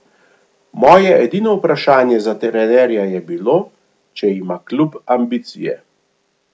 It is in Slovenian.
Moje edino vprašanje za trenerja je bilo, če ima klub ambicije.